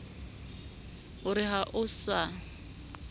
o re ha o sa